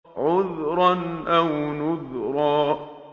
عُذْرًا أَوْ نُذْرًا